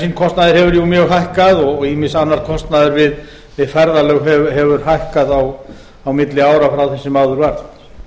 bensínkostnaður hefur jú mjög hækkað og ýmis annar kostnaður við ferðalög hefur hækkað á milli ára frá því sem áður var